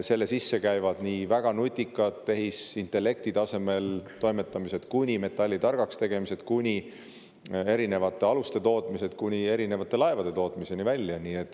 Selle sisse käivad nii väga nutikad tehisintellekti tasemel toimetamised, metalli targaks tegemine, erinevate aluste tootmine kui ka erinevate laevade tootmine.